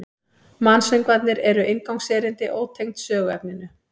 Mansöngvarnir eru inngangserindi, ótengd söguefninu.